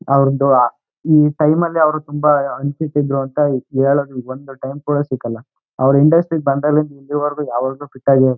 ಅವರದು ಈ ಟೈಮ್ ಅಲ್ಲಿ ಅವರು ತುಂಬಾ ಅನಫಿಟ್ ಇದ್ರೂ ಅಂತ ಹೇಳೋದು ಇಲ್ಲಿ ಬಂದು ಟೈಮ್ ಕೂಡ ಸಿಗಲ್ಲ ಅವರ ಇಂಡಸ್ಟ್ರಿ ಬಂದಾಗಲಿಂದ ಇಲ್ಲಿವರೆಗೂ ಯಾವಾಗ್ಲೂ ಫಿಟ್ ಆಗ್ಯೆ ಇರ್ತಾರೆ.